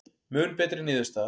Mun betri niðurstaða